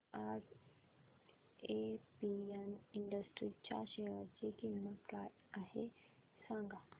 आज APM industries च्या share ची किंमत काय आहे सांगा